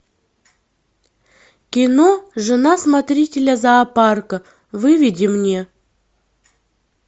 кино жена смотрителя зоопарка выведи мне